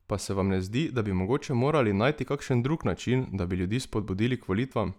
Pa se vam ne zdi, da bi mogoče morali najti kakšen drug način, da bi ljudi spodbudili k volitvam?